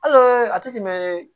A tɛ tɛmɛ